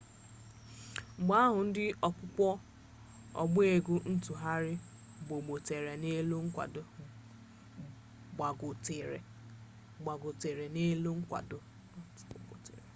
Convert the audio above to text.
mgbe ahụ ndị okpukpe ọgba egwu ntụgharị gbogotere n'elu nkwago